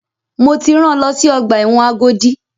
Mo ti rán lọ sí ọgbà ẹ̀wọ̀n Agodi!